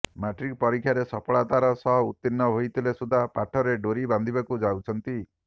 matric ପରୀକ୍ଷାରେ ସଫଳତାର ସହ ଉତୀର୍ଣ୍ଣ ହୋଇଥିଲେ ସୁଦ୍ଧା ପାଠରେ ଡୋରି ବାନ୍ଧିବାକୁ ଯାଉଛନ୍ତି